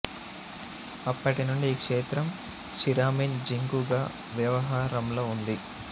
అప్పటి నుండి ఈ క్షేత్రం షిరామిన్ జింగూ గా వ్యవహారంలో ఉంది